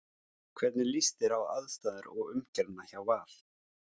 Hvernig líst þér á aðstæður og umgjörðina hjá Val?